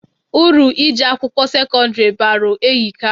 Uru ije akwụkwọ sekọndiri balụ ehika.